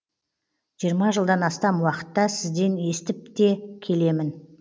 жиырма жылдан астам уақытта сізден естіп те келемін